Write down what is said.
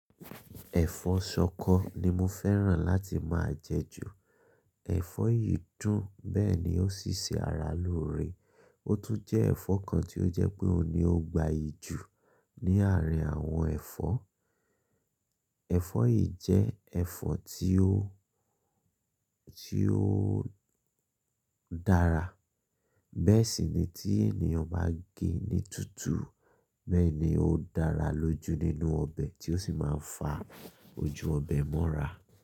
Ẹ̀fọ́ ṣọkọ ni mo fẹ́ràn láti máa jẹ ju. Ẹ̀fọ́ yìí dùn, bẹ́ẹ̀ ni ó sì ṣe ara lóore. Ó tún jẹ́ ẹ̀fọ́ kan tí ó jẹ pé òun ni ó gbayì jù ní àárín àwọn ẹ̀fọ́. Ẹ̀fọ́ yìí jẹ́ ẹ̀fọ́ tí ó, tí ó dára. Bẹ́ẹ̀ sì ni tí ènìyàn bá gẹ ní tutù, bẹ́ẹ̀ ni ó dára lójú nínú ọbẹ̀ tí ó sì máa ń fa ojú ọbẹ̀ mọ́ra.